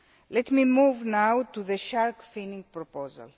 Let me move now to the shark finning proposal